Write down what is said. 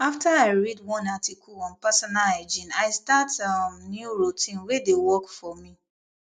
after i read one article on personal hygiene i start um new routine wey dey work for me